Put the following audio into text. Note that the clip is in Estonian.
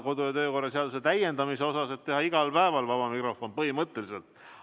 Kodu- ja töökorra seadust saab täiendada ka nii, et teha igal päeval vaba mikrofon põhimõtteliselt.